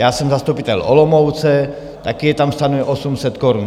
Já jsem zastupitel Olomouce, taky je tam stanoveno 800 korun.